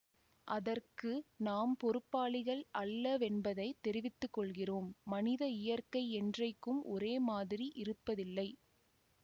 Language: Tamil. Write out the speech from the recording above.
அதற்கு நாம் பொறுப்பாளிகள் அல்லவென்பதைத் தெரிவித்து கொள்கிறோம் மனித இயற்கை என்றைக்கும் ஒரே மாதிரி இருப்பதில்லை